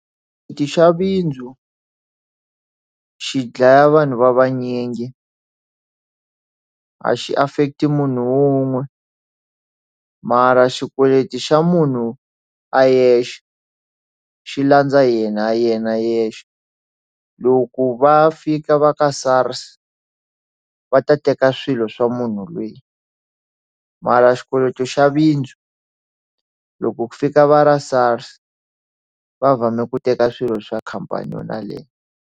xi dlaya vanhu va vanyingi a xi affect munhu wun'we mara xikweleti xa munhu a yexe xi landza yena ya yena yexe loko va fika va ka SARS va ta teka swilo swa munhu loyi mara xikweleti xa bindzu loko ku fika va ra SARS va fambe ku teka swilo swa khampani yona liya.